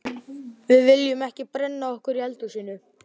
Við viljum ekki brenna okkur í eldhúsinu.